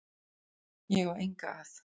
Ég á enga að.